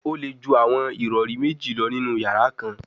O le ju awọn irọri meji lọ ninu yara kan